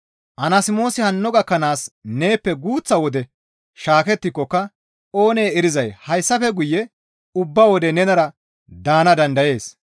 Anasmoosi hanno gakkanaas neeppe guuththa wode shaakettikokka oonee erizay hayssafe guye ubba wode nenara daana dandayees.